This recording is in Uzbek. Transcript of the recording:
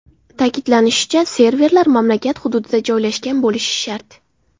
Ta’kidlanishicha, serverlar mamlakat hududida joylashgan bo‘lishi shart.